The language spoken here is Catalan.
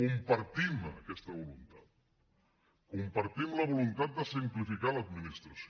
compartim aquesta voluntat compartim la voluntat de simplificar l’administració